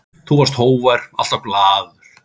Þú varst hógvær, alltaf glaður.